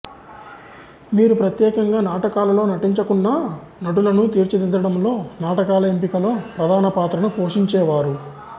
వీరు ప్రత్యేకంగా నాటకాలలో నటించకున్నా నటులను తీర్చిదిద్దడంలో నాటకాల ఎంపికలో ప్రధాన పాత్రను పోషించేవారు